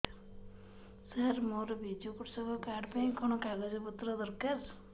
ସାର ମୋର ବିଜୁ କୃଷକ କାର୍ଡ ପାଇଁ କଣ କାଗଜ ପତ୍ର ଦରକାର